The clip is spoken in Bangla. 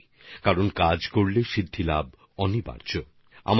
মানে কাজ করলে সিদ্ধিলাভ অবশ্যই হয়ে থাকে